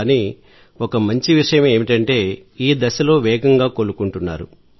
కాని మంచి విషయం ఏమిటంటే ఈ దశలో వేగంగా కోలుకుంటున్నారు